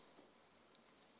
ka puo ya kgetho ya